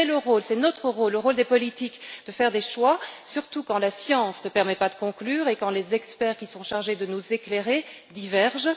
C'est le rôle, c'est notre rôle, le rôle des politiques de faire des choix, surtout quand la science ne permet pas de conclure et quand les avis des experts qui sont chargés de nous éclairer divergent.